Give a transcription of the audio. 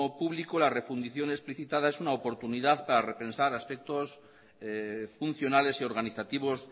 público la refundición explicitada es una oportunidad para repensar aspectos funcionales y organizativos